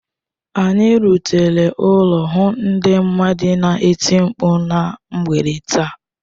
Anyị rutere ụlọ hụ ndị mmadụ na-eti mkpụ ná mgbede taa